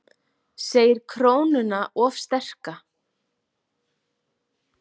Segir krónuna of sterka